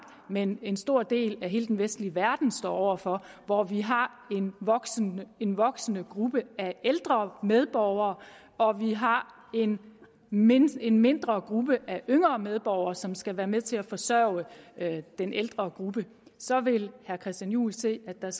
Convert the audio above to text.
men en stor del af hele den vestlige verden står over for hvor vi har en voksende en voksende gruppe af ældre medborgere og vi har en mindre en mindre gruppe af yngre medborgere som skal være med til at forsørge den ældre gruppe så vil herre christian juhl se at der